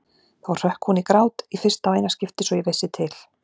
Þá hrökk hún í grát, í fyrsta og eina skiptið svo ég vissi til.